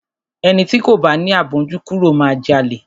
Ẹni ti kò bá ni àmójúkúrò máa jalè.